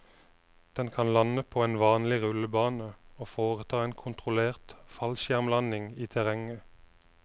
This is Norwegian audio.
Den kan lande på en vanlig rullebane og foreta en kontrollert fallskjermlanding i terrenget.